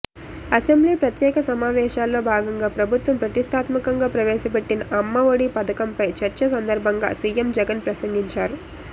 assembly ప్రత్యేక సమావేశాల్లో భాగంగా ప్రభుత్వం ప్రతిష్టాత్మకంగా ప్రవేశపెట్టిన అమ్మ ఒడి పథకంపై చర్చ సందర్భంగా సీఎం జగన్ ప్రసంగించారు